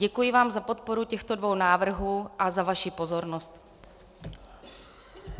Děkuji vám za podporu těchto dvou návrhů a za vaši pozornost.